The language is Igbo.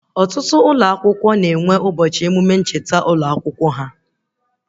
Ọtụtụ ụlọ akwụkwọ na-enwe ụbọchị emụme ncheta ụlọ akwụkwọ ha